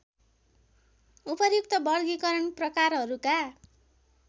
उपर्युक्त वर्गीकरण प्रकारहरूका